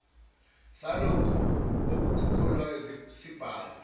salokho okukhokhelwayo sibhalwe